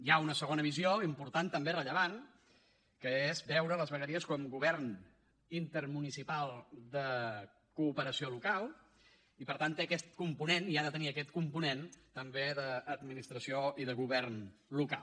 hi ha una segona visió important també rellevant que és veure les vegueries com a govern intermunicipal de cooperació local i per tant té aquest component i ha de tenir aquest component també d’administració i de govern local